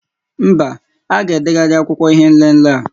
Mba, a ga-edegharị akwụkwọ ihé nlélé a